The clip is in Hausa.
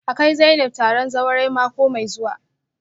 A kai Zainab taron zawarai mako mai zuwa